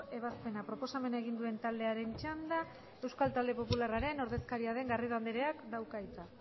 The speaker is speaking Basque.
ebazpena proposamena egin duen taldearen txanda euskal talde popularraren ordezkaria den garrido andereak dauka hitza